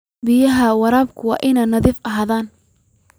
Biyaha waraabku waa inay nadiif ahaadaan.